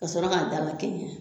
Ka sɔrɔ k'a dala kɛ ɲɛ